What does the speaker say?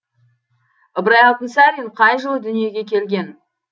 ыбырай алтынсарин қай жылы дүниеге келген